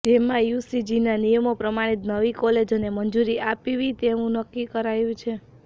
જેમાં યુજીસીના નિયમો પ્રમાણે જ નવી કોલેજોને મંજૂરી આપવી તેવું નક્કી કરાયુ છે